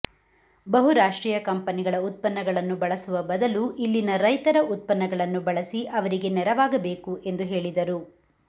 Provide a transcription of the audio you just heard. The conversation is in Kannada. ಬಹು ರಾಷ್ಟ್ರೀಯ ಕಂಪನಿಗಳ ಉತ್ಪನ್ನಗಳನ್ನು ಬಳಸುವ ಬದಲು ಇಲ್ಲಿನ ರೈತರ ಉತ್ಪನ್ನಗಳನ್ನು ಬಳಸಿ ಅವರಿಗೆ ನೆರವಾಗಬೇಕು ಎಂದು ಹೇಳಿದರು